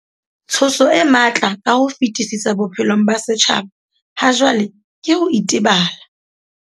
Tshoso e matla ka ho fetisisa bophelong ba setjhaba hajwale ke ho itebala.